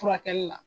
Furakɛli la